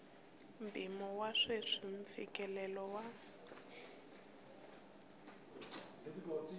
mpimo wa sweswi mfikelelo wa